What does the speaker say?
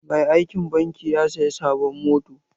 Mai aikin banki ya saya sabon mota.